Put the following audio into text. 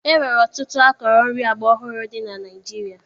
E nwere ọtụtụ akọrọ nri agbaọhụrụ dị na Naịjirịa